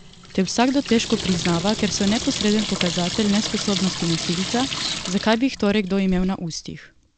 Te vsakdo težko priznava, ker so neposreden pokazatelj nesposobnosti nosilca, zakaj bi jih torej kdo imel na ustih?